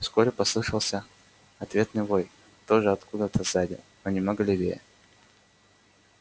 вскоре послышался ответный вой тоже откуда то сзади но немного левее